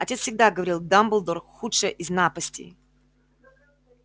отец всегда говорил дамблдор худшая из напастей